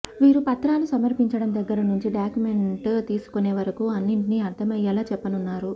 వీరు పత్రాలు సమర్పించడం దగ్గర నుంచి డాక్యుమెంట్ తీసుకునే వరకు అన్నింటిని అర్థమయ్యేలా చెప్పనున్నారు